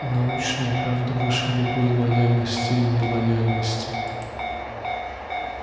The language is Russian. научная правда выше любой лояльности и нелояльности